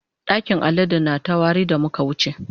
ɗakin aladen na ta wari da muka wuce.